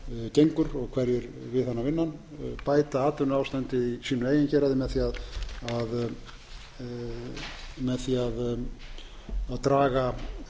gengur og hverjir við hana vinna bæta atvinnuástandið í sínu eigin héraði með því að draga